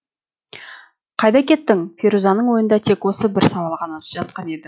қайда кеттің ферузаның ойында тек осы бір сауал ғана жатқан еді